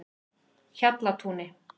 Hjallatúni